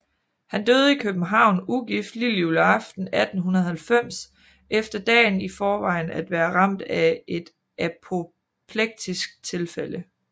Han døde i København ugift lillejuleaften 1890 efter dagen i forvejen at være ramt af et apoplektisk tilfælde